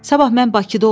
Sabah mən Bakıda olmalıyam.